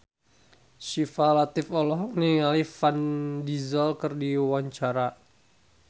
Syifa Latief olohok ningali Vin Diesel keur diwawancara